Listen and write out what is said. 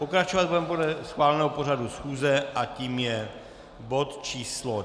Pokračovat budeme podle schváleného pořadu schůze a tím je bod číslo